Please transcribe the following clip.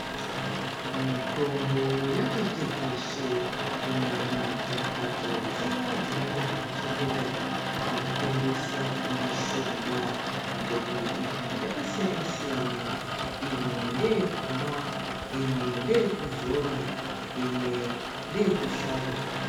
Mitombo yati tekeshe kunyanya kumhatso dziyandzinoita zvekuchengeta nekutengesa mushonga mutombo iyi yakasiyana siyana imwe ndeyekumwa imwe ndeyekuzora imwe ndeye kusvada.